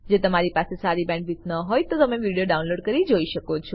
જો તમારી પાસે સારી બેન્ડવિડ્થ ન હોય તો તમે વિડીયો ડાઉનલોડ કરીને જોઈ શકો છો